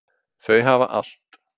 Þau hafa allt.